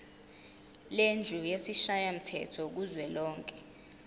lendlu yesishayamthetho kuzwelonke